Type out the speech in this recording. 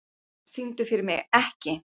Magna, syngdu fyrir mig „Ekki“.